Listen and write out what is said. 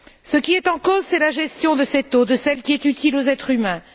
Ce qui est en cause, c'est la gestion de cette eau, de celle qui est utile aux êtres humains.